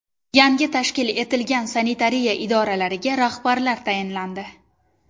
Yangi tashkil etilgan sanitariya idoralariga rahbarlar tayinlandi.